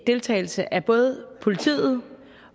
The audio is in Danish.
deltagelse af både politiet